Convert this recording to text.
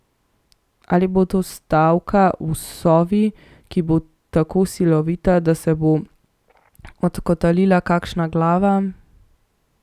Ali bo to stavka v Sovi, ki bo tako silovita, da se bo odkotalila kakšna glava?